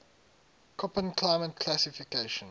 koppen climate classification